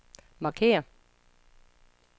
markér